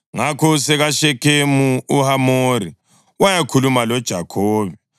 Ngakho usekaShekhemu, uHamori wayakhuluma loJakhobe.